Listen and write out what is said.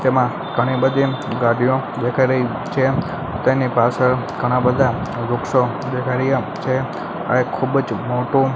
તેમાં ઘણી બધી ગાડીઓ દેખાય રહી છે તેની પાછળ ઘણાં બધા વૃક્ષો દેખાય રહ્યા છે આ એક ખૂબજ મોટુ--